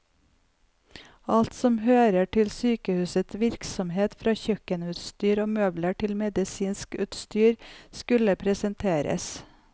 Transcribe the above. Alt som hører til sykehusets virksomhet, fra kjøkkenutstyr og møbler til medisinsk utstyr, skulle presenteres.